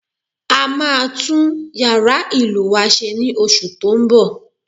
A máa tún yàrá ìlù wa se ní oṣù tó ń bọ̀